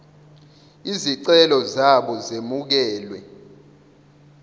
izicelo zabo zemukelwe